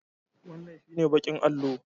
Wannan shi ne baƙin allo